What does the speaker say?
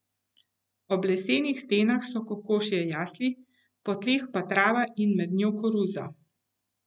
Ob lesenih stenah so kokošje jasli, po tleh pa trava in med njo koruza.